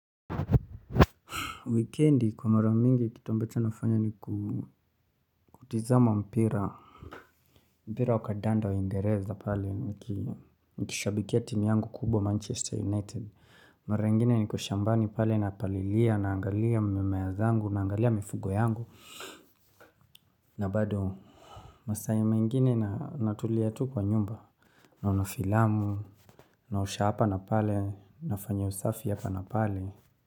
Wikendi kwa maramingi kitu ambacho nafanya ni kutazama mpira. Mpira wa kandanda waingereza pale. Nikishabikia timu yangu kubwa Manchester United. Mara ingine niko shambani pale na palilia naangalia mimea zangu naangalia mifugo yangu. Na bado masaa mengine natulia tu kwa nyumba. Naona filamu, naosha hapa na pale, nafanya usafi hapa na pale.